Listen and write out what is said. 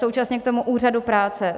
Současně k tomu úřadu práce.